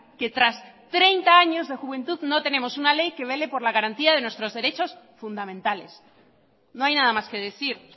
que tras treinta años de juventud no tenemos una ley que vele por la garantía de nuestros fundamentales no hay nada más que decir